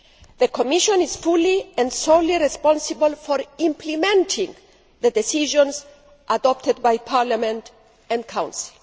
The Commission is fully and solely responsible for implementing the decisions adopted by Parliament and Council.